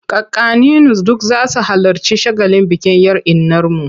Kakanninu duk za su halarci shagalin bikin 'yar innarmu.